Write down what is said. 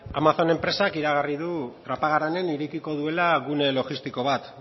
amazon enpresak iragarri du trapagaranen irekiko duela gune logistiko bat